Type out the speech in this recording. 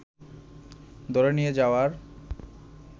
ধরে নিয়ে যাওয়ার